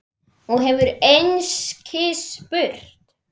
Og hefur einskis spurt.